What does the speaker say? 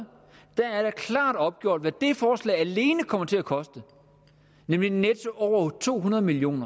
der er det klart opgjort hvad det forslag alene kommer til at koste nemlig netto over to hundrede million